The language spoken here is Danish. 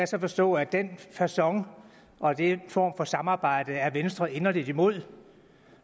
så forstå at den facon og den form for samarbejde er venstre inderligt imod